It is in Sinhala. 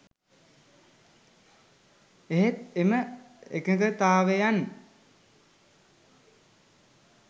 එහෙත් එම එකඟතාවයන්